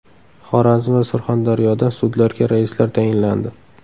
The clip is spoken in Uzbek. Xorazm va Surxondaryoda sudlarga raislar tayinlandi.